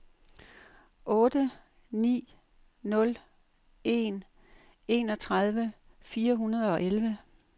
otte ni nul en enogtredive fire hundrede og elleve